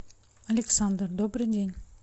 александр добрый день